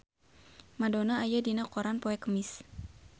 Madonna aya dina koran poe Kemis